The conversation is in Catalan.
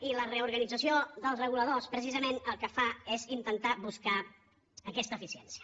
i la reorganització dels reguladors precisament el que fa és intentar buscar aquesta eficiència